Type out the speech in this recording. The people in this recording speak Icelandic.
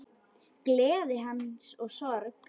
Gleði hans og sorg.